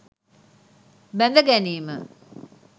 බැඳ ගැනීම